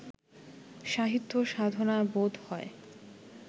সাহিত্য সাধনা বোধ হয়